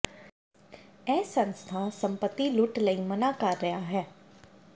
ਇਹ ਸੰਸਥਾ ਸੰਪਤੀ ਲੁੱਟ ਲਈ ਮਨ੍ਹਾ ਕਰ ਰਿਹਾ ਹੈ